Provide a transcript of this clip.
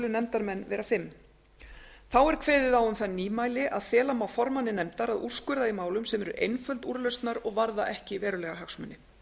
nefndarmenn vera fimm þá er kveðið á um það nýmæli að fela má formanni nefndar að úrskurða í málum sem eru einföld úrlausnar og varða ekki verulega hagsmuni